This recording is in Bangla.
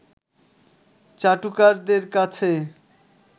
চাটুকারদের কাছে